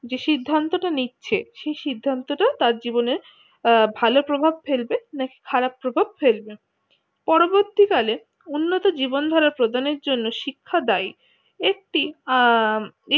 যে সে সিদ্ধান্ত টা নিচ্ছে সেই সিদ্ধান্ত টা তার জীবনে ভালো প্রভাব ফেলবে না কি খারাপ প্রভাব ফেলবে পরবর্তীকালে উন্নত জীবন ধরার প্রজনের জন্য শিক্ষা দায়ী একটি আহ